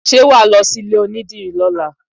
Ṣé wàá lọ sí ilé onídìrí lọ́la